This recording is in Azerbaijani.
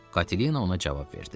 Katilina ona cavab verdi.